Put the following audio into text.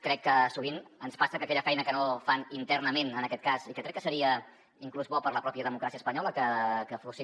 crec que sovint ens passa que aquella feina que no fan internament en aquest cas i que crec que seria inclús bo per a la pròpia democràcia espanyola que fossin